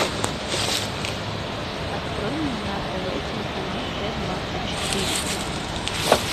открой мне на тв телеканал т двадцать четыре